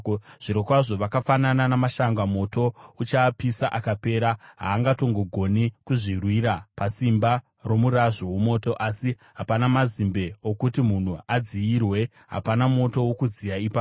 Zvirokwazvo vakafanana namashanga; moto uchaapisa akapera. Havangatongogoni kuzvirwira, pasimba romurazvo womoto. Asi hapana mazimbe okuti munhu adziyirwe; hapana moto wokudziya ipapo.